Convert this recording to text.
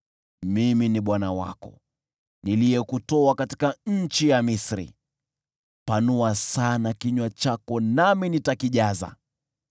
Mimi ni Bwana Mungu wako, niliyekutoa nchi ya Misri. Panua sana kinywa chako nami nitakijaza.